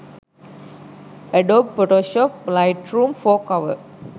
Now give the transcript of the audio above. adobe photoshop lightroom 4 cover